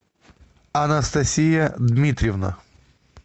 анастасия дмитриевна